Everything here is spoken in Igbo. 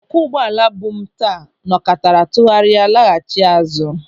Ọkwọ ụgbọala bu m taa nọkatara tụgharịa laghachi azụ.